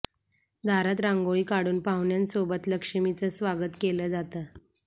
दारात रांगोळी काढून पाहुण्यांसोबत लक्ष्मीचं स्वागत केलं जातं